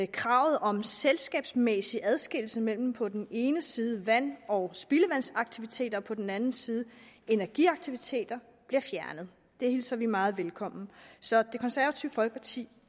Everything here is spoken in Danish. kravet om selskabsmæssig adskillelse mellem på den ene side vand og spildevandsaktiviteter og på den anden side energiaktiviteter bliver fjernet det hilser vi meget velkommen så det konservative folkeparti